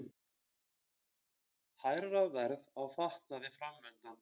Hærra verð á fatnaði framundan